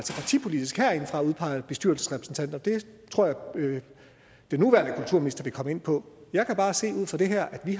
bestyrelsesrepræsentanter det tror jeg at den nuværende kulturminister vil komme ind på jeg kan bare se ud fra det her at vi